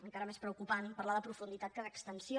encara és més preocupant parlar de profunditat que d’extensió